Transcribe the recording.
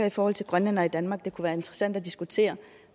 i forhold til grønlændere i danmark kunne være interessant at diskutere